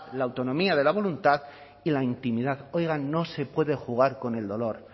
la autonomía de la voluntad y la intimidad oigan no se puede jugar con el dolor